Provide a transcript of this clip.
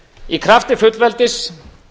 í krafti fullveldis